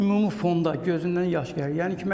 Ümumi fonda gözündən yaş gəlir.